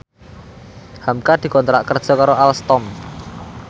hamka dikontrak kerja karo Alstom